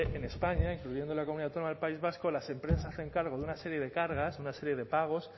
en españa incluyendo la comunidad autónoma del país vasco las empresas se hacen cargo de una serie de cargas de una serie de pagos